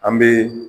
An bɛ